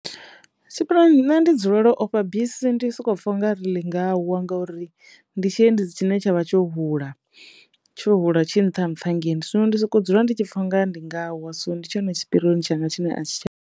nṋe ndi dzulelo ofha bisi ndi soko pfha u nga ri ḽi nga wa ngori ndi tshiendedzi tshine tsha vha tsho hula tsho hula tshinṱhanṱha hangei zwino ndi soko dzula ndi tshi pfha u nga ndi nga wa so ndi tshone tshipirioni tshanga tshine a tshi.